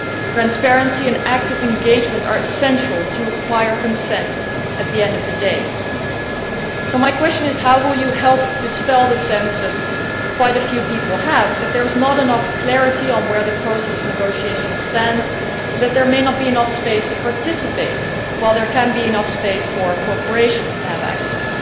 Transparency and active engagement are essential to acquiring consent at the end of the day. So, Commissioner, my question is how will you help dispel the feeling that quite a few people have that there is not enough clarity on where the process of negotiation stands, and that there may not be enough space to participate while there may be enough space for corporations to have access?